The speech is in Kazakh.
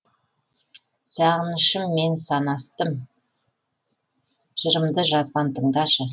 сағынышым мен санастым жырымды жазған тыңдашы